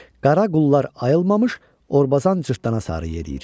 Qara qullar ayılmamış Orbazan cırtdana sarı yeriyir.